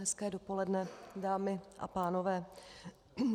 Hezké dopoledne, dámy a pánové.